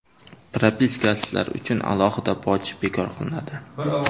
Propiskasizlar uchun alohida boj bekor qilinadi.